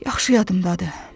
Yaxşı yadımdadır.